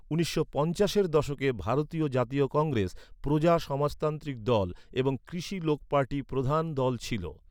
উনিশশো পঞ্চাশের দশকে ভারতীয় জাতীয় কংগ্রেস, প্রজা সমাজতান্ত্রিক দল এবং কৃষি লোক পার্টি প্রধান দল ছিল।